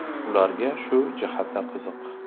Ularga shu jihati qiziq.